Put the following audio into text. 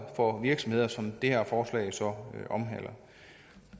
for virksomheder som det her forslag så omhandler